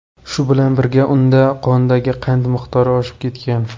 Shu bilan birga unda qondagi qand miqdori oshib ketgan.